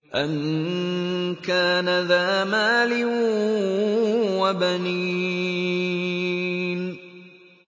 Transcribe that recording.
أَن كَانَ ذَا مَالٍ وَبَنِينَ